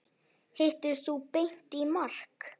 Hittir þú Beint í mark?